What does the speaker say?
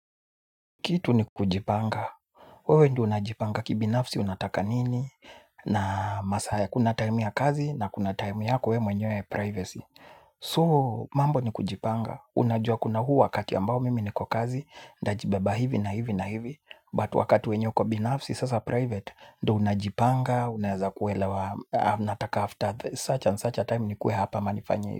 Kitu ni kujipanga, wewe ndo unajipanga kibinafsi, unataka nini, na masahaya kuna time ya kazi na kuna time ya kwe mwenye privacy So mambo ni kujipanga, unajua kuna huu wakati ambao mimi niko kazi, nda jibeba hivi na hivi na hivi But wakati wenye uko binafsi, sasa private, ndo unajipanga, unaeza kuelewa, nataka after such and such a time nikuwe hapa ama nifanye hivi.